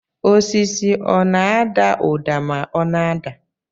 Osisi ọ na-ada ụda ma ọ na-ada